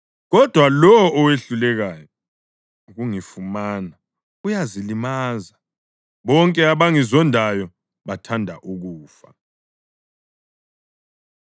Kodwa lowo owehlulekayo ukungifumana uyazilimaza; bonke abangizondayo bathanda ukufa.”